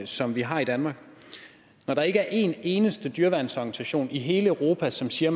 som vi har i danmark når der ikke er en eneste dyreværnsorganisation i hele europa som siger